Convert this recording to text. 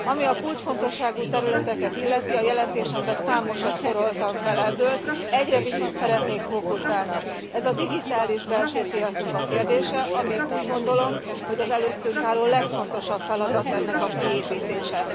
Ami a kulcsfontosságú területeket illeti, a jelentésemben számosat soroltam fel ebből, egyre viszont szeretnék fókuszálni ez a digitális belső piacnak a kérdése, ami, úgy gondolom, hogy az előttünk álló legfontosabb feladat ennek a kiépítése.